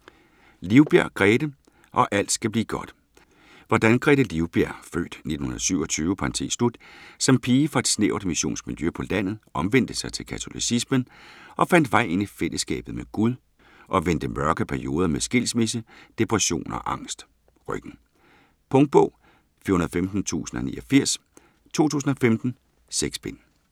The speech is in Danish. Livbjerg, Grethe: Og alt skal blive godt Hvordan Grethe Livbjerg (f. 1927) som pige fra et snævert missionsk miljø på landet, omvendte sig til katolicismen og fandt vej ind i fællesskabet med Gud, og vendte mørke perioder med skilsmisse, depression og angst. Punktbog 415089 2015. 6 bind.